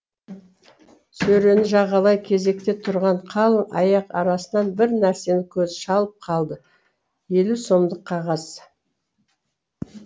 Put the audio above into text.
сөрені жағалай кезекте тұрған қалың аяқ арасынан бір нәрсені көзі шалып қалды елу сомдық қағаз